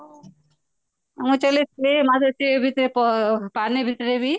ପାଣି ଭିତରେବି